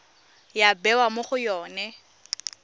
ya bewa mo go yone